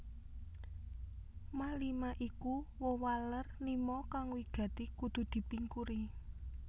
Ma lima iku wewaler lima kang wigati kudu dipingkuri